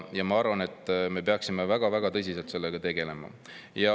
Ma arvan, et me peaksime väga-väga tõsiselt sellega tegelema.